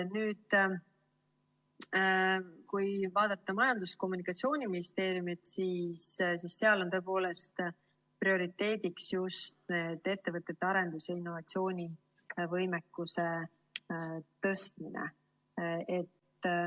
Kui vaadata Majandus‑ ja Kommunikatsiooniministeeriumit, siis seal on prioriteediks just ettevõtete arendus‑ ja innovatsioonivõimekuse tõstmine.